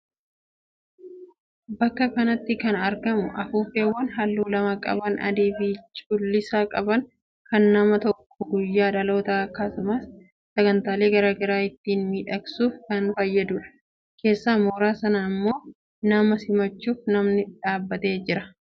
Bakka kanatti kan argamu afuuffeewwan halluu lama qaban adii fi cuuliisa qaban kan nama tokko guyyaa dhaloota akkasumas sagantaalee garaagaraa ittiin miidhagsuuf kan fayyadudha. Keessa mooraa sanaa immoo nama simachuuf namni dhaabbatee jira.